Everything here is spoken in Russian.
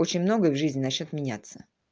очень многое в жизни начнёт меняться